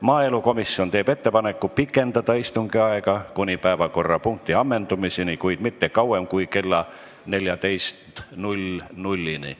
Maaelukomisjon teeb ettepaneku pikendada istungi aega kuni päevakorrapunkti ammendumiseni, kuid mitte kauem kui kella 14-ni.